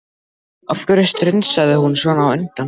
Af hverju strunsaði hún svona á undan?